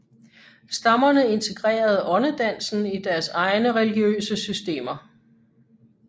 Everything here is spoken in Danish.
Stammerne integrerede åndedansen i deres egne religiøse systemer